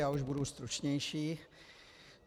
Já už budu stručnější.